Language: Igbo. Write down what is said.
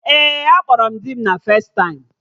Ee, akpọrọ m dị m.na festaịm